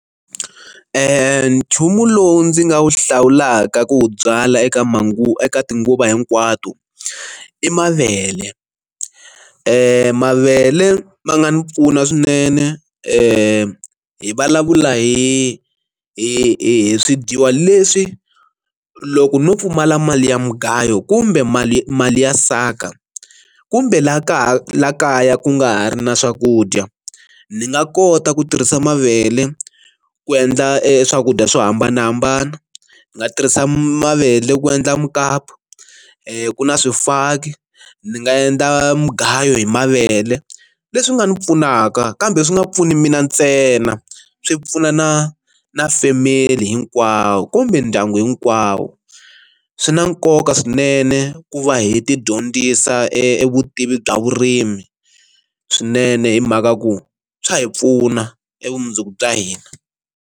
Nchumu lowu ndzi nga wu hlawulaka ku byala eka manguva eka tinguva hinkwato i mavele, mavele ma nga ni pfuna swinene hi hi vulavula hi hi swi dyiwa leswi loko no pfumala mali ya mugayo kumbe mali mali ya saka kumbe laha kaya la kaya ku nga ha ri na swakudya ni nga kota ku tirhisa mavele ku endla e swakudya swo hambanahambana, ndzi nga tirhisa mavele ku endla mukapu ku na swifaki ni nga endla mugayo hi mavele leswi nga ni pfunaka kambe swi nga pfuni mina ntsena swi pfuna na na family hinkwawo kumbe ndyangu hinkwawo, swi na nkoka swinene ku va hi ti dyondzisa evutivi bya vurimi swinene hi mhaka ku swa hi pfuna e vumundzuku bya hina.